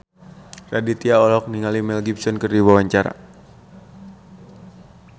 Raditya Dika olohok ningali Mel Gibson keur diwawancara